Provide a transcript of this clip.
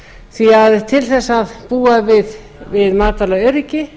því að til að búa við matvælaöryggi